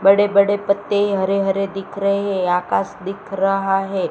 बड़े बड़े पत्ते हरे हरे दिख रहे आकाश दिख रहा है।